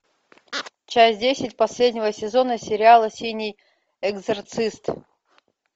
часть десять последнего сезона сериала синий экзорцист